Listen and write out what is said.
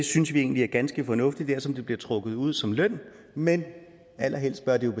synes vi egentlig er ganske fornuftigt dersom det bliver trukket ud som løn men allerhelst bør det